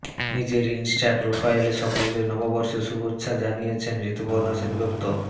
নিজের ইনস্টা প্রোফাইলে সকলকে নববর্ষের শুভেচ্ছা জানিয়েছেন ঋতুপর্ণা সেনগুপ্ত